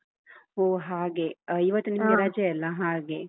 ಓ ಹಾಗೆ, ಆ ಇವತ್ತು ನಿಮ್ಗೆ ರಜೆ ಅಲಾ ಹಾಗೆ.